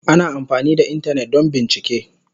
Ana amfani da Intanet don bincike.